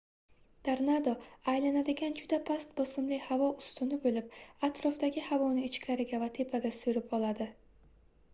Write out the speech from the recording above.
tornado aylanadigan juda past bosimli havo ustuni boʻlib atrofdagi havoni ichkariga va tepaga soʻrib oladi